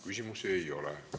Küsimusi ei ole.